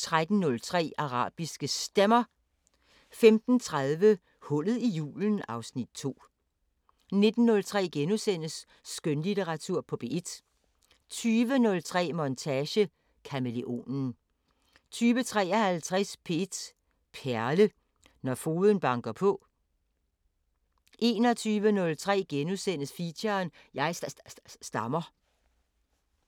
13:03: Arabiske Stemmer 15:30: Hullet i julen (Afs. 2) 19:03: Skønlitteratur på P1 * 20:03: Montage: Kamæleonen 20:53: P1 Perle: Når fogden banker på 21:03: Feature: Jeg sta-sta-stammer *